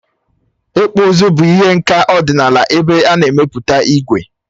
Ịkpụ ụzụ bụ ihe nka ọdịnala ebe a na-emepụta ígwè.